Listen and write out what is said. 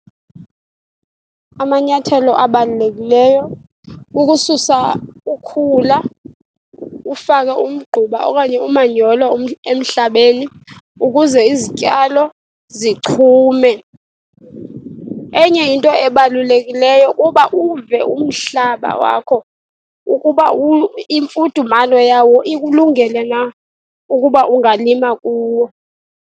Amanyathelo abalulekileyo kukususa ukhula, ufake umgquba okanye umanyolo emhlabeni ukuze izityalo zichume. Enye into ebalulekilyo kuba uve umhlaba wakho ukuba imfudumalo yawo ikulungele na ukuba ungalima kuwo.